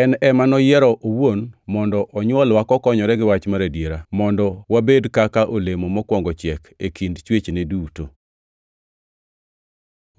En ema noyiero owuon mondo onywolwa kokonyore gi wach mar adiera, mondo wabed kaka olemo mokwongo chiek e kind chwechne duto.